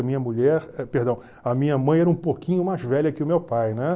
A minha mulher, eh perdão, a minha mãe era um pouquinho mais velha que o meu pai, né?